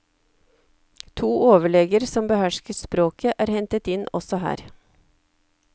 To overleger som behersket språket er hentet inn også her.